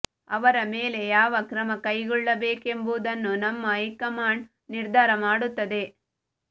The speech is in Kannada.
ಅವರ ಮೇಲೆ ಯಾವ ಕ್ರಮ ಕೈಗೊಳ್ಳಬೇಕೆಂಬುದನ್ನು ನಮ್ಮ ಹೈಕಮಾಂಡ್ ನಿರ್ಧಾರ ಮಾಡುತ್ತದೆ